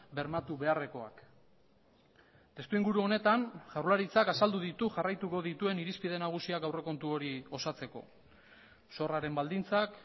bermatu beharrekoak testuinguru honetan jaurlaritzak azaldu ditu jarraituko dituen irizpide nagusiak aurrekontu hori osatzeko zorraren baldintzak